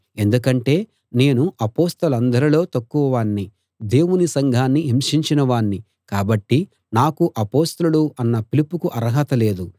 ఎందుకంటే నేను అపొస్తలులందరిలో తక్కువ వాణ్ణి దేవుని సంఘాన్ని హింసించిన వాణ్ణి కాబట్టి నాకు అపొస్తలుడు అన్న పిలుపుకు అర్హత లేదు